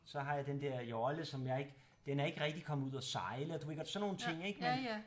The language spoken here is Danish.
Så har jeg den dér jolle som jeg ikke den er ikke rigtig kommet ud at sejle og du ved godt sådan nogle ting ik